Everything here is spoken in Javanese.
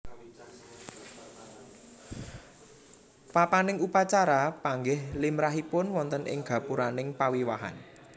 Papaning upacara panggih limrahipun wonten ing gapuraning pawiwahan